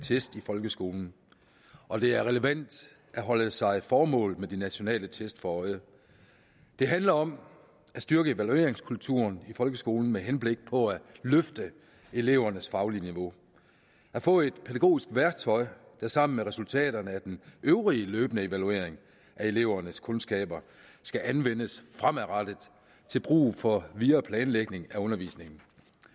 test i folkeskolen og det er relevant at holde sig formålet med de nationale test for øje det handler om at styrke evalueringskulturen i folkeskolen med henblik på at løfte elevernes faglige niveau at få et pædagogisk værktøj der sammen med resultaterne af den øvrige løbende evaluering af elevernes kundskaber skal anvendes fremadrettet til brug for videre planlægning af undervisningen